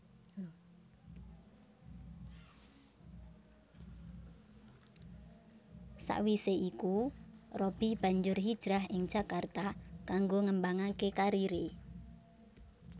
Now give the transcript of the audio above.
Sawisé iku Robby banjur hijrah ing Jakarta kanggo ngembangaké kariré